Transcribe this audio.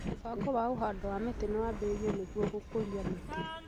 Mũbango wa ũhando wa mĩtĩ nĩ wambĩrĩirio nĩguo gũkũria mĩtĩ